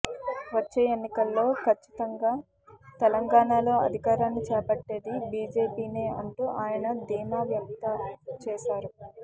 వచ్చే ఎన్నికల్లో ఖచ్చితంగా తెలంగాణలో అధికారాన్ని చేపట్టేది బీజేపీనే అంటూ ఆయన ధీమా వ్యక్త చేశారు